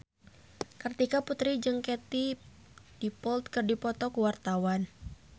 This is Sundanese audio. Kartika Putri jeung Katie Dippold keur dipoto ku wartawan